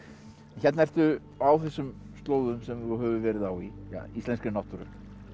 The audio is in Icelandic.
hérna ertu á þessum slóðum sem þú hefur verið á í íslenskri náttúru